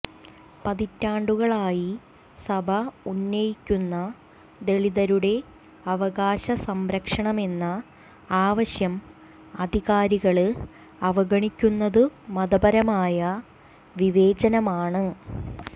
പതിറ്റാണ്ടുകളായി സഭ ഉന്നയിക്കുന്ന ദളിതരുടെ അവകാശ സംരക്ഷണമെന്ന ആവശ്യം അധികാരികള് അവഗണിക്കുന്നതു മതപരമായ വിവേചനമാണ്